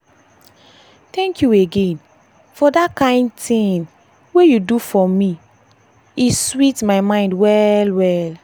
thank you again for that kind thing kind thing wey you do for me e sweet my mind well well.